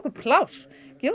pláss